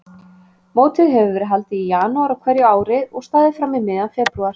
Mótið hefur verið haldið í janúar á hverju ári og staðið fram í miðjan febrúar.